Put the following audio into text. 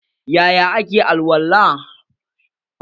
Yaya ake alwala?